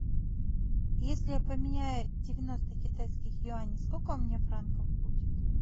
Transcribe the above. если я поменяю девяносто китайских юаней сколько у меня франков будет